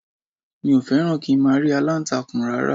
Mi ò fẹ́ràn kí n máa rí aláǹtakùn rárá